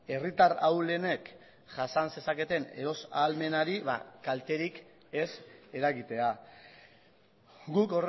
herritar ahulenek jasan zezaketen eros ahalmenari kalterik ez eragitea guk